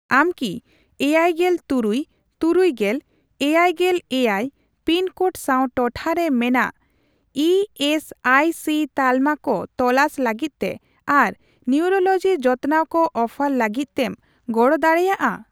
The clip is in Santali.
ᱟᱢ ᱠᱤ ᱮᱭᱟᱭᱜᱮᱞ ᱛᱩᱨᱩᱭ ,ᱛᱩᱨᱩᱭᱜᱮᱞ ,ᱮᱭᱟᱭᱜᱮᱞ ᱮᱭᱟᱭ ᱯᱤᱱ ᱠᱳᱰ ᱥᱟᱣ ᱴᱚᱴᱷᱟᱨᱮ ᱢᱮᱱᱟᱜ ᱮ ᱮᱥ ᱟᱭ ᱥᱤ ᱛᱟᱞᱢᱟ ᱠᱚ ᱛᱚᱞᱟᱥ ᱞᱟᱹᱜᱤᱫ ᱛᱮ ᱟᱨ ᱱᱤᱭᱩᱴᱨᱚᱞᱚᱡᱤ ᱡᱚᱛᱚᱱᱟᱣ ᱠᱚ ᱚᱯᱷᱟᱨ ᱞᱟᱜᱤᱫᱛᱮᱢ ᱜᱚᱲᱚ ᱫᱟᱲᱮᱭᱟᱜᱼᱟ ?